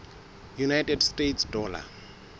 united states dollar